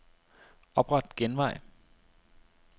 Opret genvej.